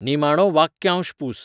निमाणो वाक्यांश पूस